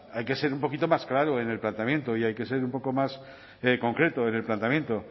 hay que ser un poquito más claro en el planteamiento y hay que ser un poco más concreto en el planteamiento